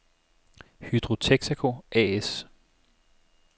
Hydro Texaco A/S